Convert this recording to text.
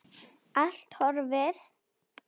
Allt horfið.